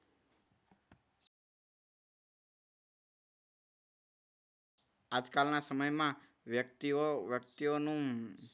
આજકાલના સમયમાં વ્યક્તિઓ વ્યક્તિઓનું